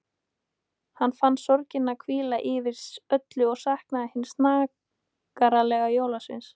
Hann fann sorgina hvíla yfir öllu og saknaði hins snaggaralega jólasveins.